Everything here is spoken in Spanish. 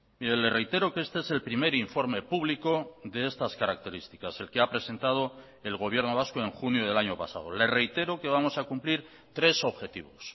mire le reitero que este es el primer informe público de estas características el que ha presentado el gobierno vasco en junio del año pasado le reitero que vamos a cumplir tres objetivos